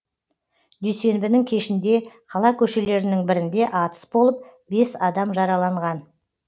дүйсенбінің кешінде қала көшелерінің бірінде атыс болып бес адам жараланған